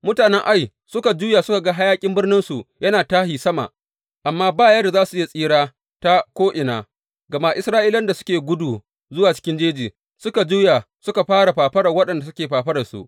Mutanen Ai suka juya suka ga hayaƙin birninsu yana tashi sama, amma ba yadda za su iya tsira ta ko’ina, gama Isra’ilawan da suke gudu zuwa cikin jeji suka juya suka fara fafarar waɗanda suke fafararsu.